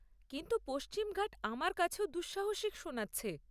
কিন্তু পশ্চিমি ঘাট আমার কাছেও দুঃসাহসিক শোনাচ্ছে।